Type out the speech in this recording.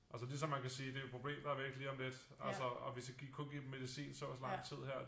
Og så lige som man kan sige det er jo et problem der er væk lige om lidt altså og vi skal give kun give dem medicin så og så lang tid her